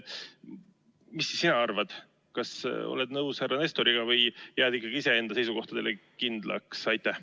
Mida sina arvad – kas oled nõus härra Nestoriga või jääd ikkagi iseenda seisukohtadele kindlaks?